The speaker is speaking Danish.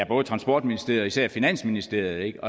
både transportministeriet og især finansministeriet